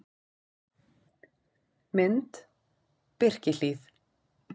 Mynd: Birkihlíð